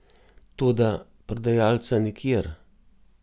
Toda, prodajalca nikjer.